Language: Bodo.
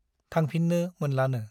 थांफिन्नो मोनलानो ।